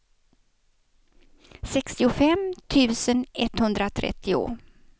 sextiofem tusen etthundratrettio